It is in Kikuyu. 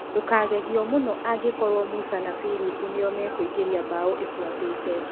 Ndũkagegio mũno angĩkorũo Musa kana Firipu nĩo makũingĩria bao ĩbuatĩte.